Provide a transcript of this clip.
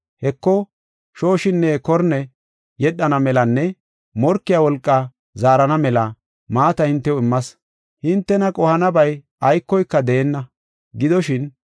Heko, shooshinne korne yedhana melanne morkiya wolqa zaarana mela maata hintew immas. Hintena qohanabay aykoyka deenna. Korne